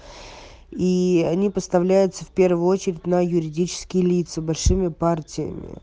и они поставляются в первую очередь на юридические лица большими партиями